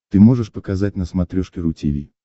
ты можешь показать на смотрешке ру ти ви